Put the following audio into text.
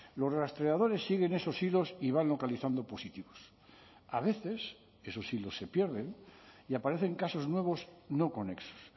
los rastreadores siguen esos hilos y van localizando positivos a veces esos hilos se pierden y aparecen casos nuevos no conexos